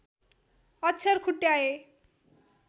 अक्षर खुट्याए